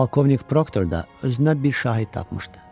Polkovnik Proktorda özünə bir şahid tapmışdı.